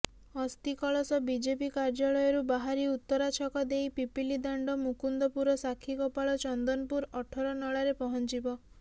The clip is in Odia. ଅସ୍ଥିକଳସ ବିଜେପି କାର୍ଯ୍ୟାଳୟରୁ ବାହାରି ଉତ୍ତରା ଛକ ଦେଇ ପିପିଲି ଦାଣ୍ଡ ମୁକୁନ୍ଦପୁର ସାକ୍ଷୀଗୋପାଳ ଚନ୍ଦନପୁର ଅଠରନଳାରେ ପହଞ୍ଚିବ